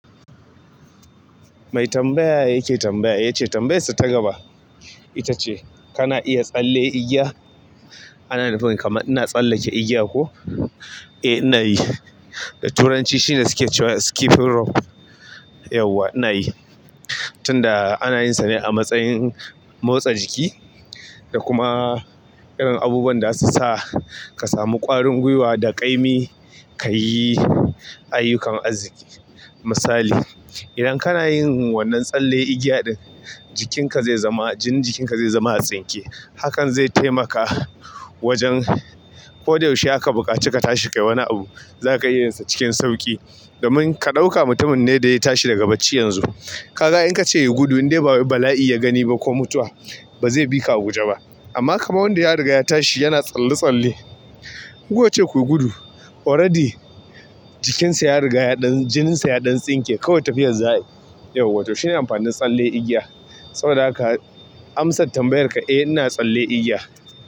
Mai tambaya yake tambaya ya ce tambayarsa ta gaba ita ce. Kana iya tsalle igiya? Ana nufin kamar ina tsallake igiya ko? Eh ina yi. Da turanci shine suke cewa skipping rope. Yauwa ina yi. Tunda ana yinsa ne a matsayin motsa jiki da kuma irin abubuwan da zasu sa ka samu ƙwarin gwiwa da ƙaimi, ka yi ayyukan arziki. Misali, idan kana yin wannan tsalle igiya ɗin, jikinka zai zama, jinin jikinka zai zama a tsinke. Hakan zai taimaka wajen ko da yaushe aka buƙaci ka tashi ka yi wani abu, za ka iyinsa cikin sauƙi. Domin ka ɗauka mutumin ne da ya tashi daga bacci yanzu. Ka ga in ka ce ya gudu, indai bawai bala'i ya gani ba ko mutuwa. Baze bika a guje bah amma kama wanda ya riga ya tashi yana tsalle tsalle. Ce ku yi gudu, already jikinsa ya riga ya ɗan, jininsa ya ɗan tsinke. Kawai tafiyar za'ai. Yauwa to shine amfanin tsalle igiya. Saboda haka amsar tambayar ka eh ina tsalle igiya.